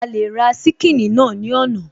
A lè ra ṣíkìnnì náà ní ọ̀nà